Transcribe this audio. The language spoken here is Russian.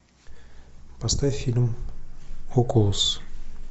поставь фильм окулус